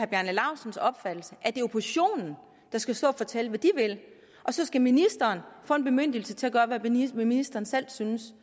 bjarne laustsens opfattelse at det er oppositionen der skal stå og fortælle hvad de vil og så skal ministeren få en bemyndigelse til at gøre hvad ministeren selv synes